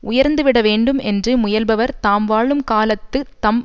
உயர்ந்து விடவேண்டும் என்று முயல்பவர் தாம் வாழும் காலத்து தம்